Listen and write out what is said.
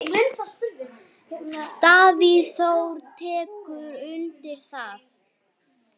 Davíð Þór tekur undir það.